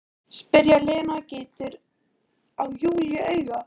spyr Lena og gýtur á Júlíu auga.